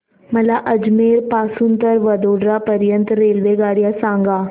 मला अजमेर पासून तर वडोदरा पर्यंत च्या रेल्वेगाड्या सांगा